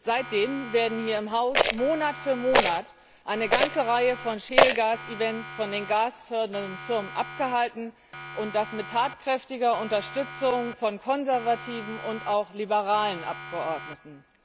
Seitdem werden hier im Haus Monat für Monat eine ganze Reihe von Schiefergasevents von den gasfördernden Firmen abgehalten und das mit tatkräftiger Unterstützung von konservativen und auch liberalen Abgeordneten.